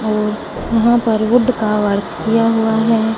और वहां पर वुड का वर्क किया हुआ है।